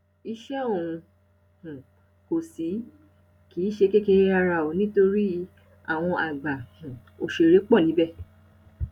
iṣẹ ọhún um kò sí kì í ṣe kékeré rárá o nítorí àwọn àgbà um òṣèré pọ níbẹ